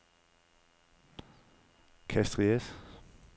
Castries